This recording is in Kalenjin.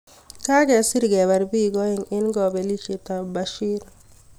Kagesir kebar bik aeng eng kapelishiet ap Bashir